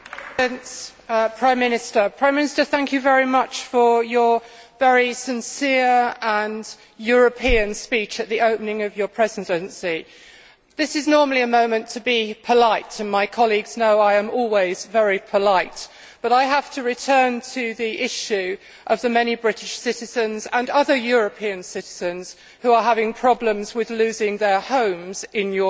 Mr President, I would like to thank the Prime Minister for his very sincere and European speech at the opening of Spain's Presidency. This is normally a moment to be polite, and my colleagues know I am always very polite, but I have to return to the issue of the many British citizens and other European citizens who are having problems with losing their homes in